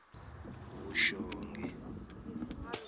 vuxongi